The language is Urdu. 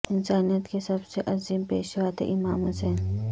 انسانیت کے سب سے عظیم پیشوا تھے امام حسین